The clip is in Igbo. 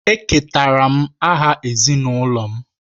Eketara m aha ezinụlọ m.